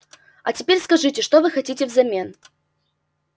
а теперь скажите что вы хотите взамен